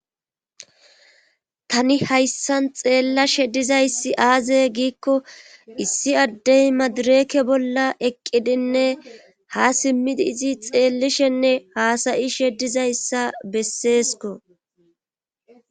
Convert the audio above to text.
tani hayssan xeellashe dizayssi aaze giikko issi addey madireke bolla eqqidinne ha simmidi izi xeellishenne haasayi shedizayssa besseesko